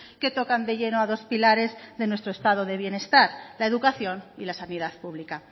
que tocan de lleno a dos pilares de nuestro estado de bienestar la educación y la sanidad pública